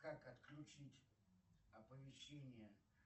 как отключить оповещение